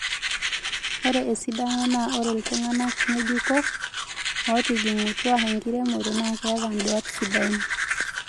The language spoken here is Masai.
Ore esidano naa ore iltungana ngéjuko ootijingutwa enkiremore naa keeta induat sidan